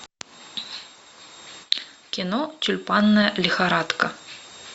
кино тюльпанная лихорадка